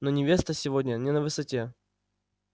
но невеста сегодня не на высоте